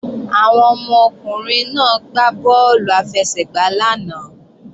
Àwọn ọmọkùnrin náà ń gbá bọ́ọ̀lù àfẹsẹ̀gbá lánàá